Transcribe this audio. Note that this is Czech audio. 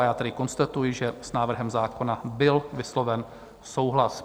A já tedy konstatuji, že s návrhem zákona byl vysloven souhlas.